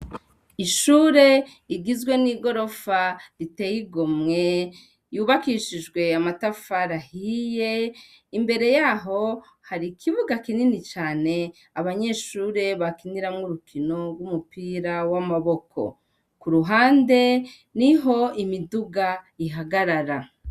Ishure rigizwe n'igorofa riteye igomwe yubakishijwe amatafari ahiye imbere yaho hari ikibuga kinini cane abanyeshure bakiniramwo urukino rwumupira wamaboko kuruhande niho imiduga ihagarara.